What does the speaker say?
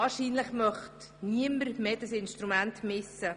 Wahrscheinlich möchte niemand mehr dieses Instrument missen.